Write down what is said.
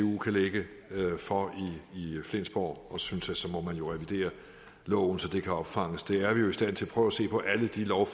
kan lægge for i flensborg og jeg synes at så må man revidere loven så det kan opfanges det er vi jo i stand til prøv at se på alle de love